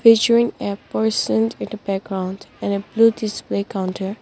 featuring a person with background and a blue this way counter.